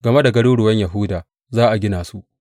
game da garuruwan Yahuda, Za a gina su,’